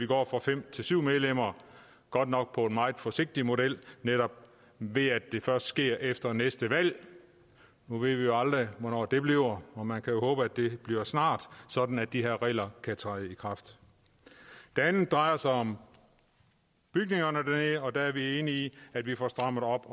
går fra fem til syv medlemmer godt nok i en meget forsigtig model ved at det netop først sker efter næste valg nu ved vi jo aldrig hvornår det bliver og man kan håbe det bliver snart sådan at de her regler kan træde i kraft det andet drejer sig om bygningerne dernede og der er vi enige i at stramme op